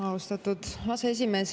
Austatud aseesimees!